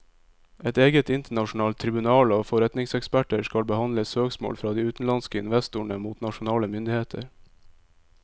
Et eget internasjonalt tribunal av forretningseksperter skal behandle søksmål fra de utenlandske investorene mot nasjonale myndigheter.